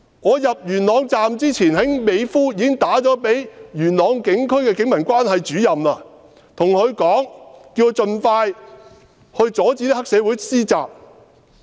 我入元朗之前，已在美孚致電元朗警區的警民關係主任，叫他盡快阻止黑社會施襲。